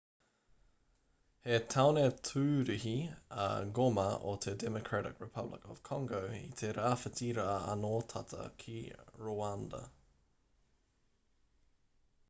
he tāone tūruhi a goma o te democratic republic of congo i te rāwhiti rā anō tata ki rwanda